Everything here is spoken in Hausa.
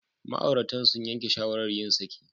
Ma'auratan sun yanke shawarar yin saki.